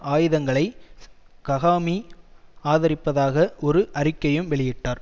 ஆயுதங்களை ககாமி ஆதரிப்பதாக ஒரு அறிக்கையையும் வெளியிட்டார்